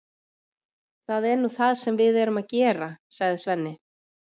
Það er nú það sem við erum að gera, sagði Svenni.